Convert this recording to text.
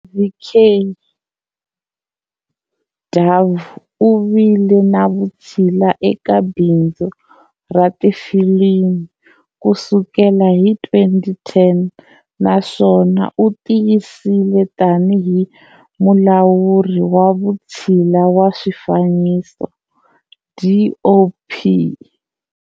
Ravi K. Yadav u vile na vutshila eka bindzu ra tifilimi ku sukela hi 2010 naswona u tiyisile tanihi Mulawuri wa Vutshila wa Swifaniso, DOP